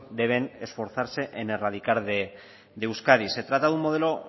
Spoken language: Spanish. deben esforzarse en erradicar de euskadi se trata de un modelo